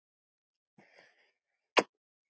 Og lesa.